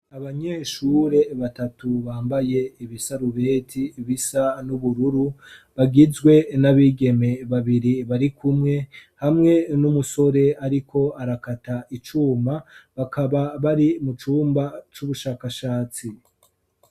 Abanyeshure batatu bambaye ibisarubeti bisa n'ubururu bagizwe n'abigeme babiri bari kumwe hamwe n'umusore, ariko arakata icuma bakaba bari mu cumba c'ubushakashatsi.